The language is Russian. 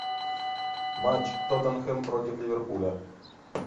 матч тоттенхэм против ливерпуля